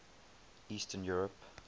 eastern europe